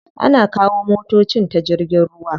Ana kawo motocin ta jirgin ruwa.